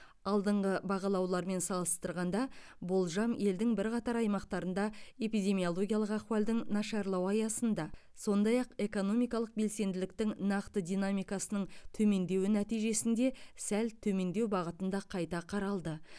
алдыңғы бағалаулармен салыстырғанда болжам елдің бірқатар аймақтарында эпидемиологиялық ахуалдың нашарлауы аясында сондай ақ экономикалық белсенділіктің нақты динамикасының төмендеуі нәтижесінде сәл төмендеу бағытында қайта қаралды